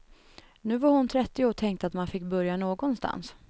Nu var hon trettio och tänkte att man fick börja någonstans.